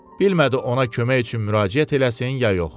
Bilmədi ona kömək üçün müraciət eləsin ya yox.